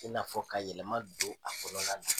I n'a fɔ ka yɛlɛma do a kɔnɔla la.